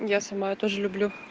я сама я тоже люблю